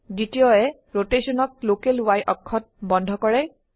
দ্বিতীয় এ ৰোটেশনক লোকেল Y অক্ষত বন্ধ কৰে